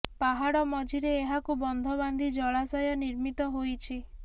ପାହାଡ଼ ମଝିରେ ଏହାକୁ ବନ୍ଧ ବାନ୍ଧି ଜଳାଶୟ ନିର୍ମିତ ହୋଇଛି